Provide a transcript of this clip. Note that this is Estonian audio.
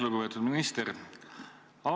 Lugupeetud minister!